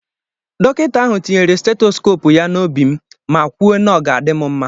Dọkịta ahụ tinyere Stetoskopu ya n'obi m ma kwuo na ọ ga-adị m mma